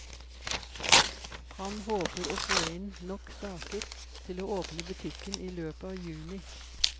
Han håper å få inn nok saker til å åpne butikken i løpet av juni.